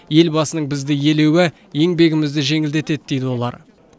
елбасының бізді елеуі еңбегімізді жеңілдетеді дейді олар